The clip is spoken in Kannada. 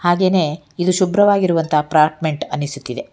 ಹಾಗೇನೇ ಇದು ಶುಭ್ರವಾಗಿರುವಂತಹ ಅಪಾರ್ಟ್ಮೆಂಟ್ ಅನಿಸುತ್ತಿದೆ.